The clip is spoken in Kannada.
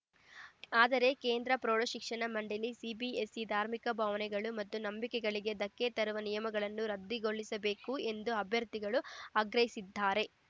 ಆದರೆ ಕೇಂದ್ರ ಪ್ರೌಢಶಿಕ್ಷಣ ಮಂಡಳಿ ಸಿಬಿಎಸ್‌ಇ ಧಾರ್ಮಿಕ ಭಾವನೆಗಳು ಮತ್ತು ನಂಬಿಕೆಗಳಿಗೆ ಧಕ್ಕೆ ತರುವ ನಿಯಮಗಳನ್ನು ರದ್ದುಗೊಳಿಸಬೇಕು ಎಂದು ಅಭ್ಯರ್ಥಿಗಳು ಆಗ್ರಹಿಸಿದ್ದಾರೆ